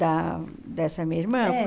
Da dessa minha irmã? É